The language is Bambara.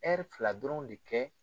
fila dɔrɔn de kɛ